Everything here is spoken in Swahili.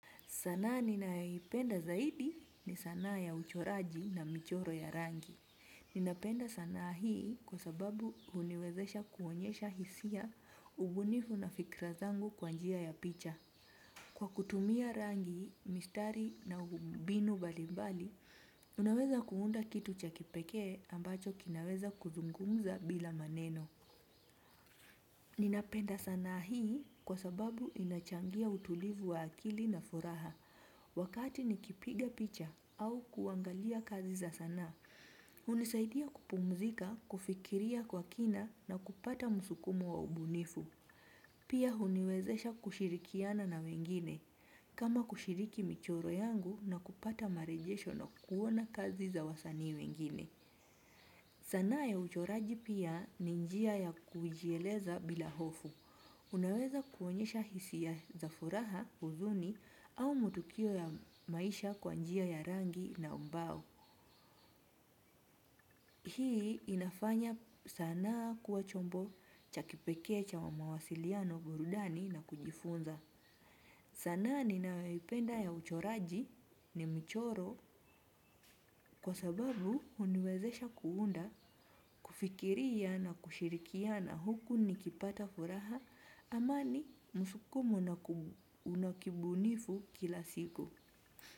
Sanaa ninayoipenda zaidi ni sanaa ya uchoraji na michoro ya rangi. Ninapenda sanaa hii kwa sababu huniwezesha kuonyesha hisia, ubunifu na fikra zangu kwa njia ya picha. Kwa kutumia rangi, mistari na mbinu mbalimbali, unaweza kuunda kitu cha kipekee ambacho kinaweza kuzungumza bila maneno. Ninapenda sanaa hii kwa sababu inachangia utulivu wa akili na furaha. Wakati nikipiga picha au kuangalia kazi za sanaa. Hunisaidia kupumzika, kufikiria kwa kina na kupata msukumo wa ubunifu. Pia huniwezesha kushirikiana na wengine, kama kushiriki michoro yangu na kupata marejesho na kuona kazi za wasanii wengine. Sanaa ya uchoraji pia ni njia ya kujieleza bila hofu. Unaweza kuonyesha hisia za furaha, huzuni au matukio ya maisha kwa njia ya rangi na ubao. Hii inafanya sanaa kuwa chombo cha kipekee cha wa mawasiliano, burudani na kujifunza. Sanaa ninayoipenda ya uchoraji ni mchoro kwa sababu huniwezesha kuunda, kufikiria na kushirikiana huku nikipata furaha. Amani, msukumo na una kibunifu kila siku.